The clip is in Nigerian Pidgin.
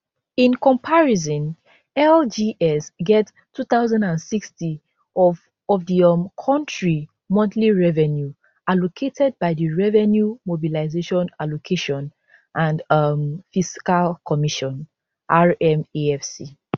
in comparison lgs get 2060 of of di um kontri monthly revenue allocated by di revenue mobilisation allocation and um fiscal commission rmafc